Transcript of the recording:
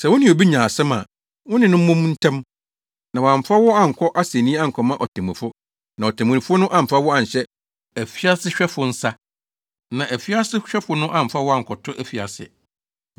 “Sɛ wo ne obi nya asɛm a, wo ne no mmɔ mu ntɛm, na wamfa wo ankɔ asennii ankɔma otemmufo, na otemmufo no amfa wo anhyɛ afiasehwɛfo nsa, na afiasehwɛfo no amfa wo ankɔto afiase.